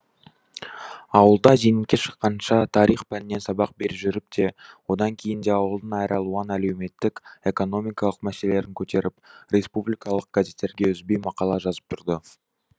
ауылда зейнетке шыққанша тарих пәнінен сабақ бере жүріп те одан кейін де ауылдың әралуан әлеуметтік экономикалық мәселелерін көтеріп республикалық газеттерге үзбей мақала жазып тұрды